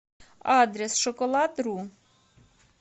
адрес шоколадру